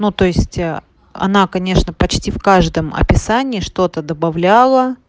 ну то есть она конечно почти в каждом описание что-то добавляла